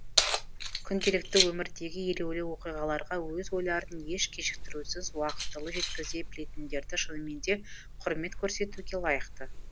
күнделікті өмірдегі елеулі оқиғаларға өз ойларын еш кешіктірусіз уақытылы жеткізе білетіндерді шынымен де құрмет көрсетуге лайықты